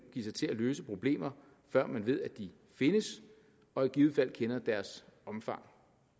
sig til at løse problemer før man ved de findes og i givet fald kender deres omfang